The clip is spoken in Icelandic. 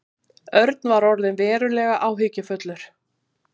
Örn var orðinn verulega áhyggjufullur.